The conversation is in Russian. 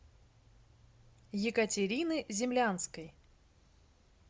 екатерины землянской